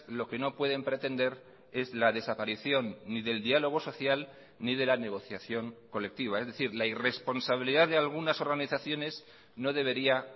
lo que no pueden pretender es la desaparición ni del diálogo social ni de la negociación colectiva es decir la irresponsabilidad de algunas organizaciones no debería